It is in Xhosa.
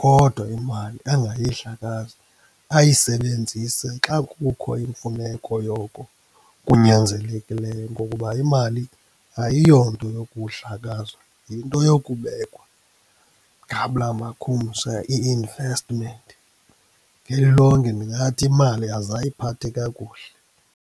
Kodwa imali angayidlakazi, ayisebenzise xa kukho imfuneko yoko kunyanzelekileyo. Ngokuba imali ayiyonto yokudlakazwa, yinto yokubekwa, ngabula makhumsha i-investment. Ngelilonke ndingathi imali azayiphathe kakuhle.